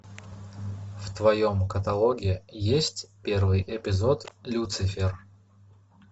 в твоем каталоге есть первый эпизод люцифер